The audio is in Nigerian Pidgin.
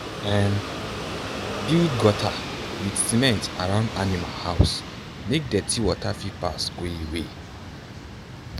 um build gutter with cement around animal house make dirty water fit pass go away.